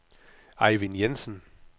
Ejvind Jensen